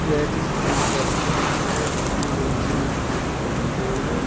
यह किसी चीज का पिच है जिसमें बहोत से बच्चे खेल रहे हैं।